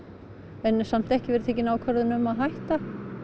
en ekki verið tekin ákvörðun um að hætta